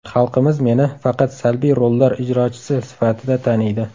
Xalqimiz meni faqat salbiy rollar ijrochisi sifatida taniydi.